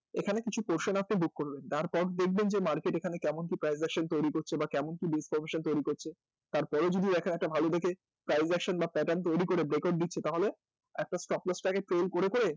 এখানে কিছু portion আপনি book করবেন তার পর দেখবেন market এখানে কেমন কি price তৈরি করছে বা কেমন কি তৈরি করছে তার পরেও যদি একটা ভালো দেখে বা pattern তৈরি করে দিচ্ছে তাহলে একটা তৈরি করে করে